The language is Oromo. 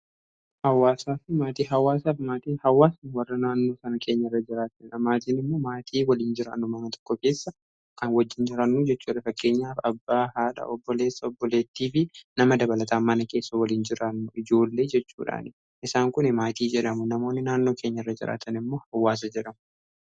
Hawwaasa fi maatii hawwaasaa. hawwaasni warra naannoo kanni keenya irra jiraatanidha. Maatiin immoo maatii waliin jiraannu mana tokko keessa kan wajjiin jiraannu jechuudha. fakkeenyaaf abbaa, haadha, obboleessa, obboleettii fi nama dabalata mana keessa waliin jiraannu ijoollee jechuudha, isaan kuni maatii jedhamu. Namoonni naannoo keenya irra jiraatan immoo hawwaasa jedhamu.